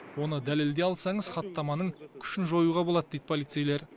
оны дәлелдей алсаңыз хаттаманың күшін жоюға болад дейді полицейлер